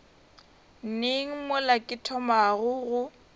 neng mola ke thomago go